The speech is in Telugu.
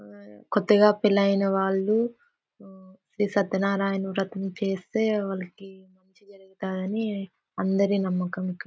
కొత్తగా పెళ్ళైన వాళ్ళు ఈ సత్యన్నారాయణ వ్రతం చేస్తే వాళ్ళకి అని అందరి నమ్మకం ఇక్కడ.